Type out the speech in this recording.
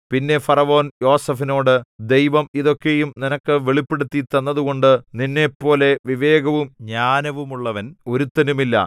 പിന്നെ ഫറവോൻ യോസേഫിനോട് ദൈവം ഇതൊക്കെയും നിനക്ക് വെളിപ്പെടുത്തി തന്നതുകൊണ്ടു നിന്നെപ്പോലെ വിവേകവും ജ്ഞാനവുമുള്ളവൻ ഒരുത്തനുമില്ല